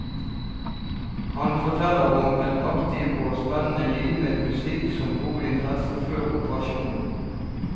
Han forteller om et aktivt og spennende liv med musikk som hovedinteresse før operasjonen.